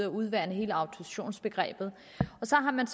udvande hele autorisationsbegrebet og så har man